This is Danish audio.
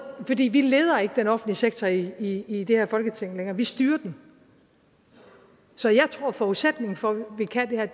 vi leder ikke den offentlige sektor i i det her folketing længere vi styrer den så jeg tror at forudsætningen for at vi kan det her